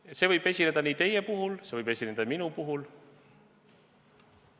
Aga see võib juhtuda nii teie puhul kui ka minu puhul.